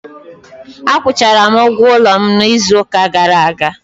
Akwụchara m ụgwọ ụlọ m n'izu ụka gara aga.